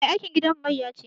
Mai aikin gidanmu mayya ce